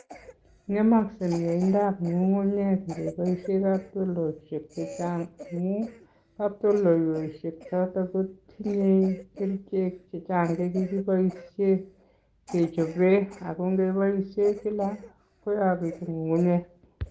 Ng'emoksei miendindab ng'ungunyek ngeboisien katoltolik chechang' amun katoltoleiyweisiek choton kotinye kerichek chechang' chekikiboisien kechope ako keboisien kila koyokitun ng'ungunyek.